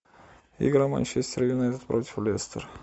игра манчестер юнайтед против лестер